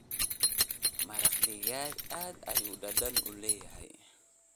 maraq digaag aad ayuu dadan uu leeyahy.